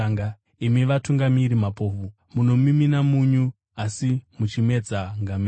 Imi vatungamiri mapofu, munomimina nyunyu asi muchimedza ngamera.